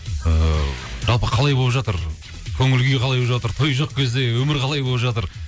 ыыы жалпы қалай болып жатыр көңіл күй қалай болып жатыр той жоқ кезде өмір қалай болып жатыр